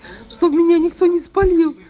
что меня никто не спалил